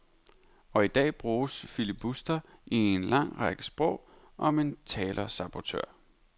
Og i dag bruges filibuster i en lang række sprog om en talersabotør.